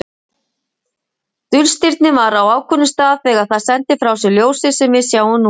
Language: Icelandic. Dulstirnið var á ákveðnum stað þegar það sendi frá sér ljósið sem við sjáum núna.